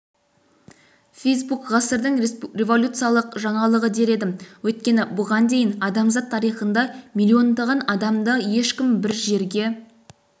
фейсбук ғасырдың революциялық жаңалығы дер едім өйткені бұған дейін адамзат тарихында миллиондаған адамды ешкім бір жерге